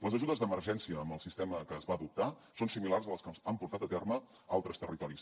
les ajudes d’emergència amb el sistema que es va adoptar són similars a les que han portat a terme altres territoris